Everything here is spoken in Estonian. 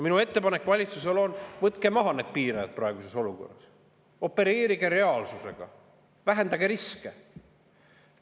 Minu ettepanek valitsusele on: võtke maha need piirajad praeguses olukorras, opereerige reaalsusega, vähendage riske!